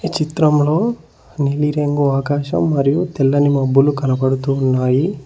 చిత్రంలో నీలిరంగు ఆకాశం మరియు తెల్లని మబ్బులు కనబడుతు ఉన్నాయి.